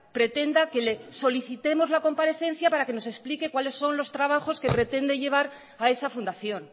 pretenda que le solicitemos la comparecencia para que nos explique cuáles son los trabajos que pretende llevar a esa fundación